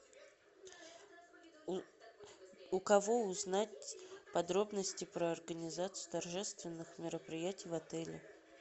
у кого узнать подробности про организацию торжественных мероприятий в отеле